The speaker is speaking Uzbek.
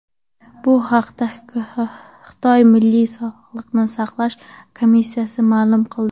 Bu haqda Xitoy Milliy sog‘liqni saqlash komissiyasi ma’lum qildi .